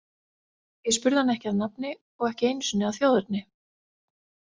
Ég spurði hann ekki að nafni og ekki einu sinni að þjóðerni.